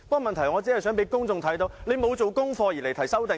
問題是，我只是想讓公眾看到他沒有做功課而提出修正案。